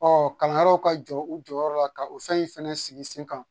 Ɔ kalanyɔrɔw ka jɔ u jɔyɔrɔ la ka o fɛn in fɛnɛ sigi sen kan